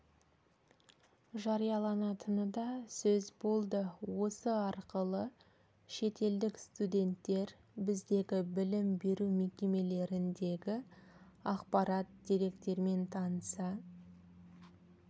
жарияланатыны да сөз болды осы арқылы шетелдік студенттер біздегі білім беру мекемелеріндегі ақпарат деректермен таныса